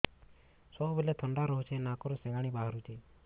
ସବୁବେଳେ ଥଣ୍ଡା ରହୁଛି ନାକରୁ ସିଙ୍ଗାଣି ବାହାରୁଚି